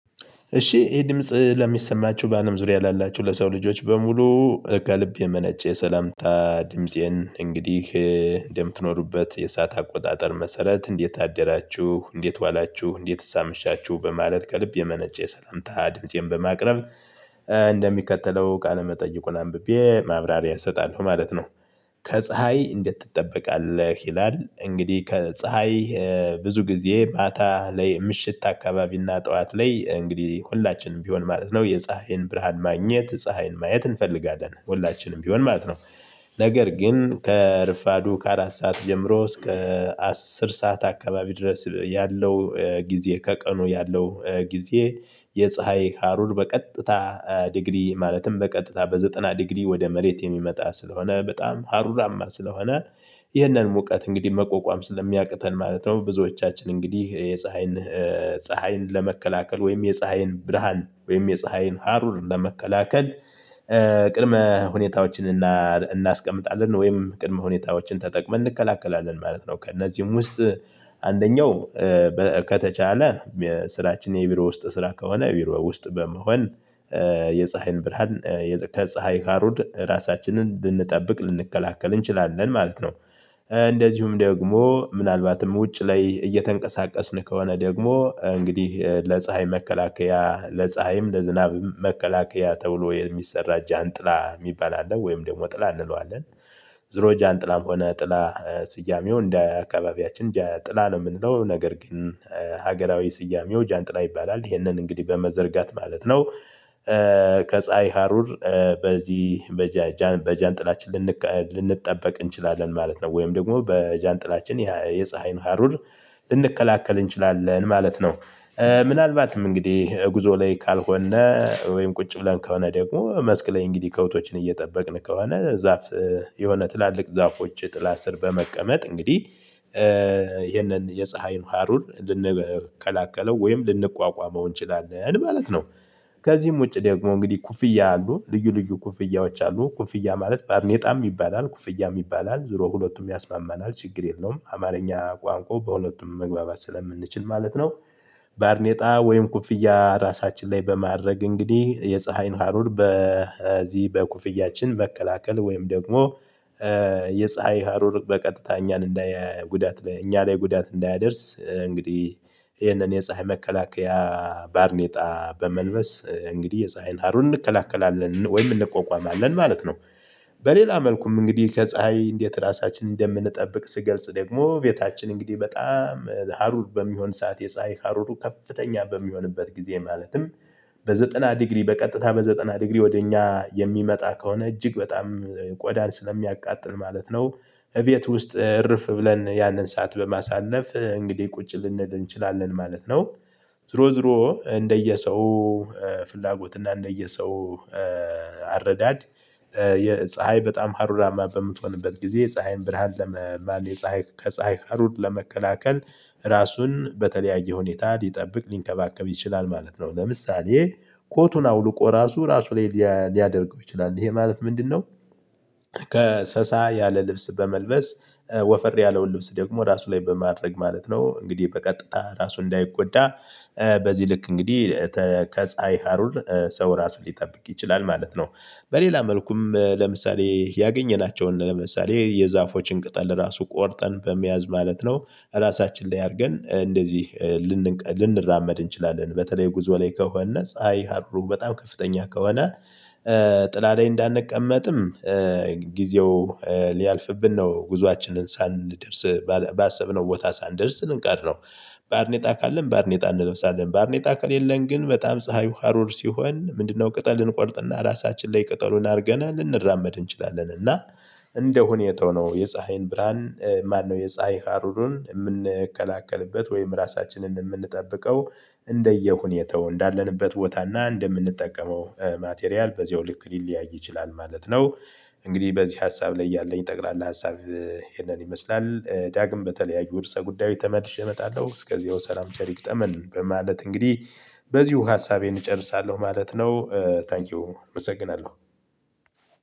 እሺ ይሄ ድምጽ ለሚሰማችሁ በአለም ዙሪያ ላላችሁ ለሰው ልጆች በሙሉ። ከልብ የመነጨ የሰላምታ ድምፄን እንግዲህ እንደምትኖሩበት የሰዓት አቆጣጠር መሰረት እንዴት አደራችሁ እንዴት ዋላችሁ እንዴትስ አመሻችሁ በማለት ከልብ የመነጨ ሰላምታ ድምፄን በማቅረብ እንደሚከተለው ቃለ መጠይቁን አንብቤ ማብራሪያ እሰጣለሁ ማለት ነው። ከፀሀይ እንዴት ትጠበቃለህ ይላል? እንግዲህ ከፀሀይ ብዙ ጊዜ ማታ ላይ ምሽት አካባቢና ጠዋት ላይ እንግዲህ ሁላችንም ቢሆን ማለት ነው የፀሀይን ብርሃን ማግኘት ፀሀይን ማየት እንፈልጋለን ሁላችንም ቢሆን ማለት ነው። ነገር ግን ከረፋዱ ከአራት ሰዓት ጀምሮ እስከ አስር ሰዓት አካባቢ ድረስ ያለው ጊዜ ከቀኑ ያለው ጊዜ የፀሀይ ሀሩር በቀጥታ ዲግሪ ማለትም በቀጥታ በዘጠና ዲግሪ ወደ መሬት የሚመጣ ስለሆነ በጣም ሀሩራማ ስለሆነ። ይህንን ሙቀት እንግዲህ መቆቋም ስለሚያቅተን ማለት ነው። ብዙዎቻችን እንግዲህ የፀሀይን ፀሀይን ለመከላከል ወይም የፀሀይን ብርሃን ወይም የፀሀይን ሃሩር ለመከላከል ቅድመ ሁኔታዎችን እናስቀምጣለን ወይም ቅድመ ሁኔታዎችን ተጠቅመን እንከላከላለን ማለት ነው። ከእነዚህም ውስጥ አንደኛው ከተቻለ ስራችን የቢሮ ውስጥ ስራ ከሆነ ቢሮ ውስጥ በመሆን የፀሀይን ብርሃን ከፀሀይ ካሩድ ራሳችንን ልንጠብቅ ልንከላከል እንችላለን ማለት ነው። እንደዚሁም ደግሞ ምናልባትም ውጭ ላይ እየተንቀሳቀስን ከሆነ ደግሞ እንግዲህ ለፀሀይ መከላከያ ለፀሀይም ለዝናብም መከላከያ ተብሎ የሚሰራ ጃንጥላ የሚባል አለ ወይም ደግሞ ጥላ እንለዋለን። ዙሮ ጃንጥላም ሆነ ጥላ ስያሜው እንደ አካባቢያችን ጥላ ነው የምንለው ነገር ግን ሀገራዊ ስያሜው ጃንጥላ ይባላል ይሄንን እንግዲህ በመዘርጋት ማለት ነው። ከፀሀይ ሀሩር በዚህ በጃንጥላችን ልንጠበቅ እንችላለን ማለት ነው ወይም ደግሞ በጃንጥላችን የፀሀይን ሀሩር ልንከላከል እንችላለን ማለት ነው። ምናልባትም እንግዲህ ጉዞ ላይ ካልሆነ ወይም ቁጭ ብለን ከሆነ ደግሞ መስክ ላይ እንግዲህ ከብቶችን እየጠበቅን ከሆነ ዛፍ የሆነ ትላልቅ ዛፎች ጥላ ስር በመቀመጥ እንግዲህ ይሄንን የፀሀይን ሃሩር ልንከላከለው ወይም ልንቋቋመው እንችላለን ማለት ነው። ከዚህም ውጪ ደግሞ እንግዲህ ኩፍያ አሉ ልዩ ልዩ ኩፍያዎች አሉ ኩፍያ ማለት ባርኔጣም ይባላል ኩፍያም ይባላል ዙሮ ሁለቱም ያስማማናል ችግር የለውም አማርኛ ቋንቋ በሁለቱም መግባባት ስለምንችል ማለት ነው። ባርኔጣ ወይም ኩፍያ ራሳችን ላይ በማድረግ እንግዲህ የፀሀይን ሀሩር በዚህ በኩፍያችን መከላከል ወይም ደግሞ የፀሀይ ሀሩር በቀጥታ እኛን እንዳያይ ጉዳት ላይ እኛ ላይ ጉዳት እንዳያደርስ እንግዲህ ይህንን የፀሀይ መከላከያ ባርኔጣ በመልበስ እንግዲህ የፀሀይን ሀሩን እንከላከላለን ወይም እንቆቋቋማለን ማለት ነው። በሌላ መልኩም እንግዲህ ከፀሀይ እንዴት ራሳችንን እንደምንጠብቅ ስገልጽ ደግሞ ቤታችን እንግዲህ በጣም ሀሩር በሚሆን ሰዓት የፀሀይ ሀሩሩ ከፍተኛ በሚሆንበት ጊዜ ማለትም በዘጠና ዲግሪ በቀጥታ በዘጠና ዲግሪ ወደ እኛ የሚመጣ ከሆነ እጅግ በጣም ቆዳን ስለሚያቃጥል ማለት ነው። እቤት ውስጥ እርፍ ብለን ያንን ሰዓት በማሳለፍ እንግዲህ ቁጭ ልንል እንችላለን ማለት ነው። ዝሮ ዝሮ እንደየ ሰው ፍላጎት እና እንደየ ሰው አረዳድ የፀሀይ በጣም ሀሩራማ በምትሆንበት ጊዜ ፀሀይን ብርሃን ለመ የፀሀይ ከፀሀይ ሀሩር ለመከላከል ራሱን በተለያየ ሁኔታ ሊጠብቅ ሊንከባከብ ይችላል ማለት ነው። ለምሳሌ ኮቱን አውልቆ ራሱ ራሱ ላይ ሊያደርገው ይችላል ይሄ ማለት ምንድነው? ከሰሳ ያለ ልብስ በመልበስ ወፈር ያለውን ልብስ ደግሞ ራሱ ላይ በማድረግ ማለት ነው እንግዲህ በቀጥታ ራሱ እንዳይጎዳ በዚህ ልክ እንግዲህ ከፀሀይ ሀሩር ሰው ራሱ ሊጠብቅ ይችላል ማለት ነው። በሌላ መልኩም ለምሳሌ ያገኘናቸውን ለምሳሌ የዛፎችን ቅጠል ራሱ ቆርጠን በመያዝ ማለት ነው። ራሳችን ላይ አድርገን እንደዚህ ልንራመድ እንችላለን በተለይ ጉዞ ላይ ከሆነ ፀሀይ ሀርሩ በጣም ከፍተኛ ከሆነ። ጥላ ላይ እንዳንቀመጥም ጊዜው ሊያልፍብን ነው ጉዞአችንን ሳንደርስ ባሰብነው ቦታ ሳንደርስ ልንቀር ነው። ባርኔጣ ካለን ባርኔጣ እንለብሳለን ባርኔጣ ከሌለን ግን በጣም ፀሀዩ ሀሩር ሲሆን ምንድነው? ቅጠል እንቆርጥና ራሳችን ላይ ቅጠሉን አድርገን ልንራመድ እንችላለን እና እንደ ሁኔታው ነው። የፀሀይን ብርሃን ማነው የፀሀይ ሃሩርን የምንከላከልበት ወይም ራሳችንን የምንጠብቀው? እንደየሁኔታው እንዳለንበት ቦታ እና እንደምንጠቀመው ማቴሪያል በዚያው ልክ ሊለያይ ይችላል ማለት ነው። እንግዲህ በዚህ ሀሳብ ላይ ያለኝ ጠቅላላ ሀሳብ ይሄንን ይመስላል። ዳግም በተለያዩ ርዕሰ ጉዳይ ተመልሼ እመጣለሁ እስከያው ሰላም ቸር ይግጠመን በማለት እንግዲህ በዚሁ ሀሳቤን እጨርሳለሁ ማለት ነው። ታንኪው አመሰግናለሁ።